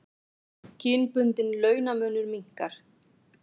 Kynbundinn launamunur minnkar